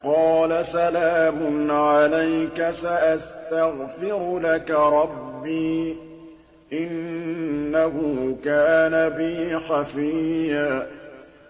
قَالَ سَلَامٌ عَلَيْكَ ۖ سَأَسْتَغْفِرُ لَكَ رَبِّي ۖ إِنَّهُ كَانَ بِي حَفِيًّا